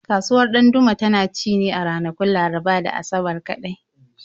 Kasuwar Ɗandume tana ci ne a ranakun Laraba da Asabar kaɗai.